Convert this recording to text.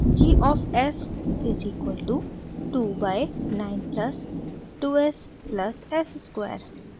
g of s is equal to 2 by 9 plus 2 s plus s square